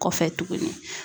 Kɔfɛ tuguni.